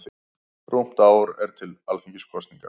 Rúmt ár er til Alþingiskosninga.